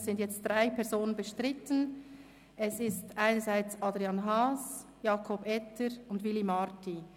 Es sind jetzt drei Personen bestritten, es sind dies Adrian Haas, Jakob Etter und Willy Marti.